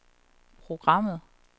programmet